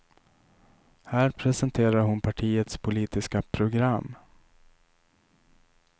Här presenterar hon partiets politiska program.